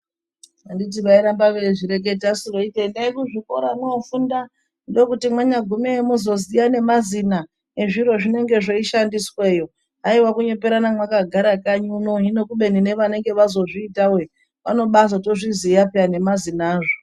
Anditi vairamba veizvireketasu kuti endai kuzvikora mwofunda ndokuti mwanyagumeyo mozoziya nemazina ezviro zvinenge zveishandisweyo haiwa kunyeperana mwakagare kanyi unono hino kubeni nevanenge vazozviitawe vanobazotozviziya nemazina azvo.